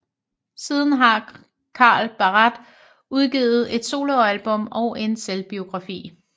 Siden har Carl Barât udgivet et soloalbum og en selvbiografi